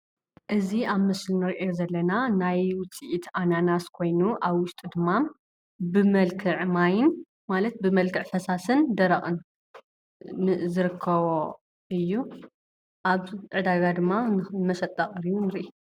እዚ ኣብ ምስሊ እንሪኦ ዘለና ናይ ውፅኢት ኣናናስ ኮይኑ አብ ውሽጡ ድማ ብመልክዕ ማይን ማለት ብመልክዕ ፈሳሲን ደረቅን ዝርከቦ እዩ፡፡ ኣብ ዕዳጋ ድማ ንመሸጣ ቀሪቡ ንርኢ፡፡